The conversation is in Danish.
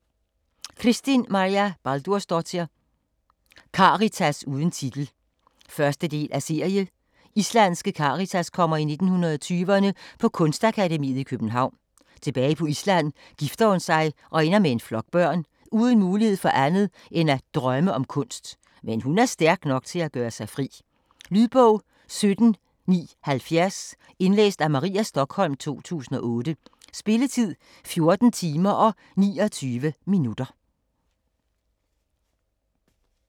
Kristín Marja Baldursdóttir: Karitas uden titel 1. del af serie. Islandske Karitas kommer i 1920'erne på Kunstakademiet i København. Tilbage på Island gifter hun sig og ender med en flok børn - uden mulighed for andet end at drømme om kunst. Men hun er stærk nok til at gøre sig fri. Lydbog 17970 Indlæst af Maria Stokholm, 2008. Spilletid: 14 timer, 29 minutter.